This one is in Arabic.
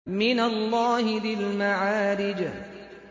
مِّنَ اللَّهِ ذِي الْمَعَارِجِ